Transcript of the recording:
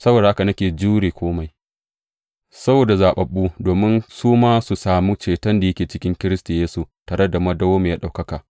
Saboda haka nake jure kome saboda zaɓaɓɓu, domin su ma su sami ceton da yake cikin Kiristi Yesu, tare da madawwamiyar ɗaukaka.